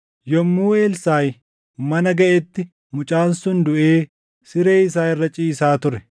Yommuu Elsaaʼi mana gaʼetti mucaan sun duʼee siree isaa irra ciisaa ture.